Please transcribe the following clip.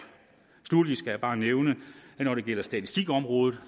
sluttelig skal jeg bare nævne at når det gælder statistikområdet